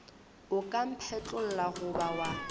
o ka mphetlolla goba wa